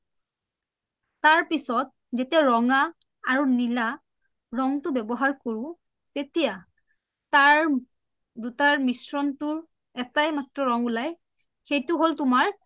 তাৰপিছত যেতিয়া ৰঙা আৰু নীলা ৰংটো ব্যৱহাৰ কৰো তেতিয়া তাৰ দুটাৰ মিশ্ৰণটো এটাই মাট্ৰ ৰং উলাই সেইটো হ’ল তুমাৰ